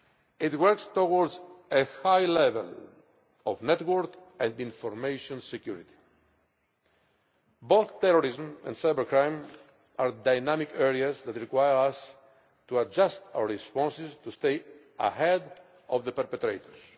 It works towards a high level of network and information security. Both terrorism and cybercrime are dynamic areas that require us to adjust our responses to stay ahead of the perpetrators.